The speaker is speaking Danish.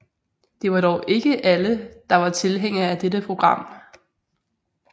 Det var dog ikke alle der var tilhængere af dette program